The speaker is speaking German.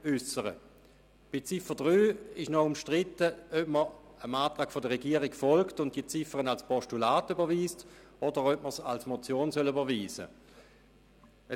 Bei Ziffer 3 ist noch umstritten, ob man dem Antrag der Regierung folgt und diese Ziffer als Postulat überweist, oder ob man sie als Motion überweisen soll.